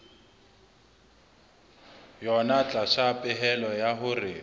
yona tlasa pehelo ya hore